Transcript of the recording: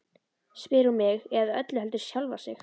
spyr hún mig, eða öllu heldur sjálfa sig.